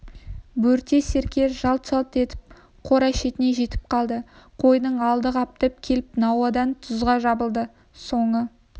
бөрте серке жалт-жалт басып қора шетіне жетіп қалды қойдың алды қаптап келіп науадағы тұзға жабылды соңы